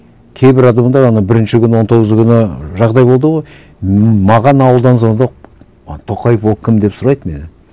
кейбір бірінші күні он тоғызы күні жағдай болды ғой маған ауылдан звондап маған тоқаев ол кім деп сұрайды менен